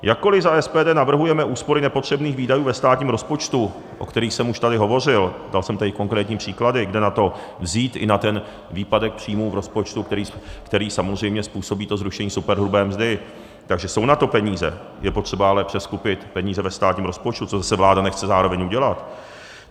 Jakkoli za SPD navrhujeme úspory nepotřebných výdajů ve státním rozpočtu, o kterých jsem už tady hovořil, dal jsem tady konkrétní příklady, kde na to vzít, i na ten výpadek příjmů v rozpočtu, který samozřejmě způsobí to zrušení superhrubé mzdy, takže jsou na to peníze, je potřeba ale přeskupit peníze ve státním rozpočtu, což zase vláda nechce zároveň udělat.